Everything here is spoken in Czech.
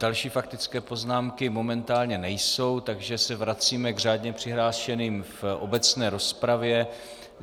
Další faktické poznámky momentálně nejsou, takže se vracíme k řádně přihlášeným v obecné rozpravě.